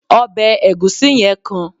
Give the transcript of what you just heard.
obe egusi yen kan